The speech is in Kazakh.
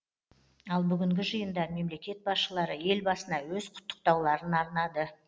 ал бүгінгі жиында мемлекет басшылары елбасына өз құттықтауларын арнады